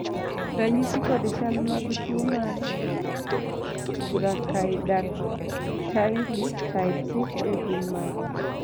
ranyisi kod chal mag tuo mar Brachydactyly type 6A gin mage?